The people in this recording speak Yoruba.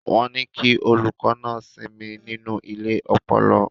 Wọ́n ní kí olùkọ́ náà sinmi nínú ilé ọpọlọ.